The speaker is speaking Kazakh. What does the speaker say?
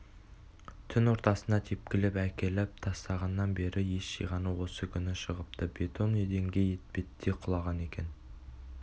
түн ортасында тепкілеп әкеліп тастағаннан бері ес жиғаны осы күні шығыпты бетон еденге етпеттей құлаған екен